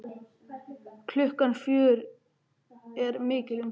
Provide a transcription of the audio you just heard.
Klukkan fjögur er mikil umferð.